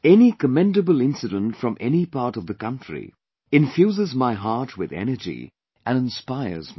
Any commendable incident from any part of the country infuses my heart with energy and inspires me